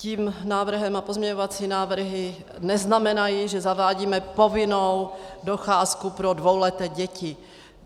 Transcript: Tím návrhem a pozměňovací návrhy neznamenají, že zavádíme povinnou docházku pro dvouleté děti.